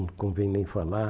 Não convém nem falar.